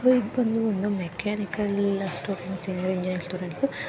ಇದು ಬಂದು ಒಂದು ಮೆಕಾನಿಕಲ್‌ ಸ್ಟೂಡೆಂಟ್ಸ್ ಇಂಜನಿಯರಿಂಗ್ ಸ್ಟೂಡೆಂಟ್ಸ್ --